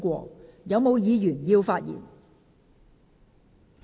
是否有議員想發言？